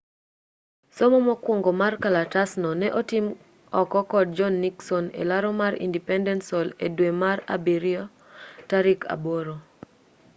somo mokwongo mar kalatasno ne otim oko kod john nixon e laro mar independence hall e dwe mar abiriyo tarik aboro